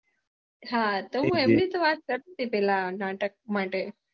હા તો હું એમની તો વાત કરતી હતી પેલા નાટક માટે